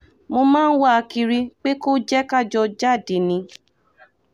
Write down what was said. mo máa ń wá a kiri pé kò jẹ́ ká jọ jáde ni